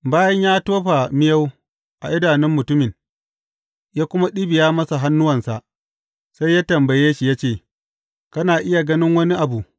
Bayan ya tofa miyau a idanun mutumin, ya kuma ɗibiya masa hannuwansa, sai ya tambaye shi ya ce, Kana iya ganin wani abu?